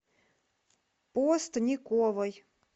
постниковой